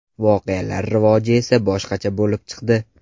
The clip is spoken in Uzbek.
Voqealar rivoji esa boshqacha bo‘lib chiqdi.